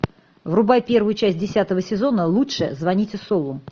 врубай первую часть десятого сезона лучше звоните солу